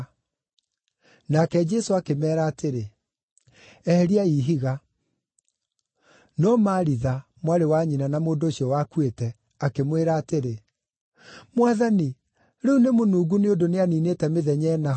Nake Jesũ akĩmeera atĩrĩ, “Eheriai ihiga.” No Maritha, mwarĩ wa nyina na mũndũ ũcio wakuĩte, akĩmwĩra atĩrĩ, “Mwathani, rĩu nĩmũnungu nĩ ũndũ nĩaniinĩte mĩthenya ĩna ho.”